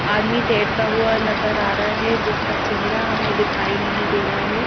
आदमी तैरता हुआ नजर आ रहा है जिसका चेहरा हमें दिखाई नहीं दे रहा है।